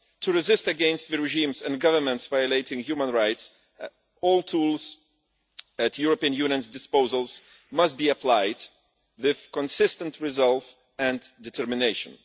To resist the regimes and governments violating human rights, all tools at the European Union's disposal must be applied with consistent resolve and determination.